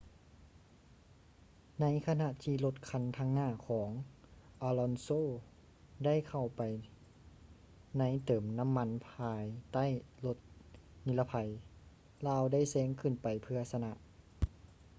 ໃນຂະນະທີ່ລົດຄັນທາງໜ້າຂອງ alonso ໄດ້ເຂົ້າໄປໃນເຕີມນໍ້າມັນພາຍໃຕ້ລົດນິລະໄພ ລາວໄດ້ແຊງຂຶ້ນໄປເພື່ອຊະນະ